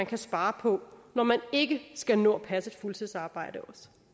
kan spare på når man ikke skal nå at passe et fuldtidsarbejde